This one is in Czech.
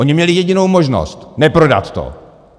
Oni měli jedinou možnost - neprodat to.